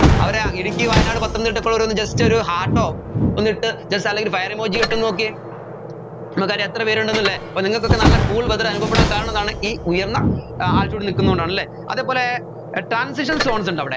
അവിടെ ഇടുക്കി വയനാട് പത്തനംതിട്ട ഉള്ളവരൊക്കെ just ഒരു heart ഓ ഒന്നിട്ട് just അല്ലെങ്കിൽ ഒരു fire emoji ഇട്ടൊന്നു നോക്കിയേ നമ്മുക്കറിയാം എത്രപേരുണ്ടെന്നല്ലേ അപ്പോ നിങ്ങൾക്കൊക്കെ നല്ല cool weather അനുഭവപ്പെടാൻ കാരണം എന്താണ് ഈ ഉയർന്ന ഏർ altitude ൽ നിൽക്കുന്നോണ്ടാണെല്ലേ അതേപോലെ ഏർ transition zones ഉണ്ടവിടെ